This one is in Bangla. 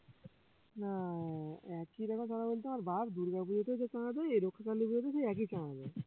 না একই রকম চাঁদা বলতে আমার বাপ দুর্গা পুজোতেও যেরকম চাঁদা দেয় এই রক্ষা কালী পুজোতেও একই চাঁদা দেয়